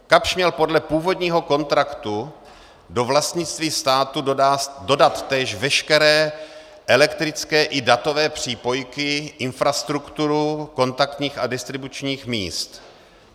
Kapsch měl podle původního kontraktu do vlastnictví státu dodat též veškeré elektrické i datové přípojky, infrastrukturu kontaktních a distribučních míst.